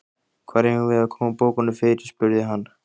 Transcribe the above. Hvar eigum við að koma bókunum fyrir? spurði hann.